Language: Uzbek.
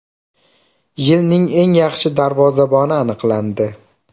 Yilning eng yaxshi darvozaboni aniqlandi.